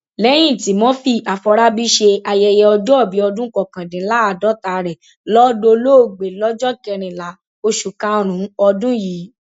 lẹyìn tí murphy aforábí ṣe ayẹyẹ ọjọòbí ọdún kọkàndínláàádọta rẹ lọ dolóògbé lọjọ kẹrìnlá oṣù karùnún ọdún yìí